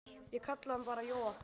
Ég kalla hann bara Jóa.